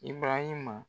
I barahima